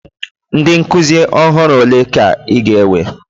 Ndị nkuzi ọhụrụ ole ka ị ga-ewe?